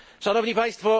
Szanowni Państwo!